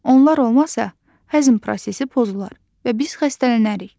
Onlar olmasa, həzm prosesi pozular və biz xəstələnərik.